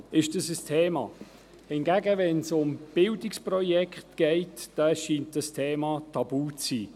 Wenn es hingegen um Bildungsprojekte geht, scheint dieses Thema tabu zu sein.